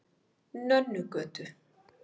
Nönnugötu